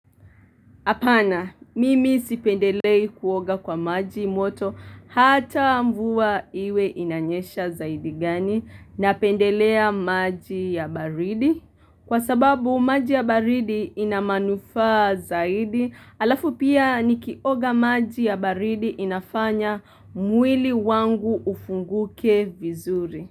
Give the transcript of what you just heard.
Apana, mimi sipendelei kuoga kwa maji moto hata mvua iwe inanyesha zaidi gani napendelea maji ya baridi. Kwa sababu maji ya baridi ina manufaa zaidi, alafu pia nikioga maji ya baridi inafanya mwili wangu ufunguke vizuri.